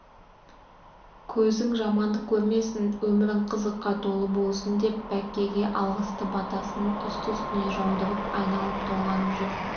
көзің жамандық көрмесін өмірің қызыққа толы болсын деп бәккеге алғысты батасын үсті-үстіне жаудырып айналып-толғанып жүр